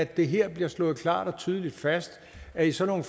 det her bliver slået klart og tydeligt fast at i sådan